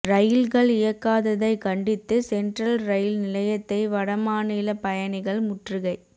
ரயில்கள் இயக்காததை கண்டித்து சென்ட்ரல் ரயில் நிலையத்தை வடமாநில பயணிகள் முற்றுகை